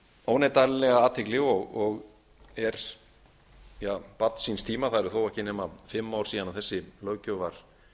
óneitanlega athygli og er barn síns tíma það eru þó ekki nema fimm ár síðan þessi löggjöf var